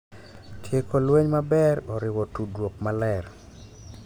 Tieko lweny maber oriwo tudruok maler,